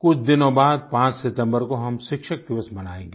कुछ दिनों बाद पांच सितम्बर को हम शिक्षक दिवस मनायेगें